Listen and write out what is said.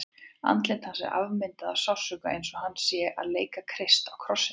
Andlit hans er afmyndað af sársauka, eins og hann sé að leika Krist á krossinum.